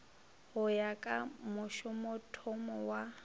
go ya ka mošomothomo wa